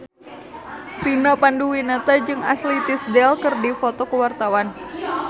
Vina Panduwinata jeung Ashley Tisdale keur dipoto ku wartawan